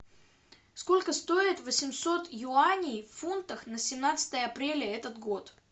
сколько стоит восемьсот юаней в фунтах на семнадцатое апреля этот год